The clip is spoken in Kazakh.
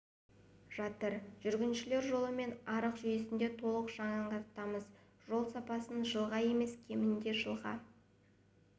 жатыр жүргіншілер жолы мен арық жүйесін де толық жаңартамыз жол сапасын жылға емес кемінде жылға